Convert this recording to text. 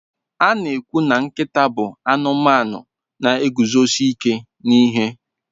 A na-ekwu na nkịta bụ anụmanụ na-eguzosi ike n'ihe.